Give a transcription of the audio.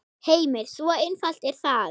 Heimir: Svo einfalt er það?